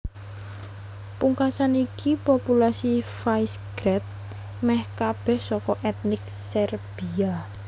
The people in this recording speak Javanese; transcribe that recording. Pungkasan iki populasi Visegrad mèh kabèh saka ètnik Serbia